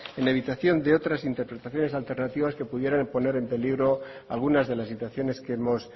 en levitación de otras interpretaciones alternativas que pudieran poner en peligro algunas de las situaciones que hemos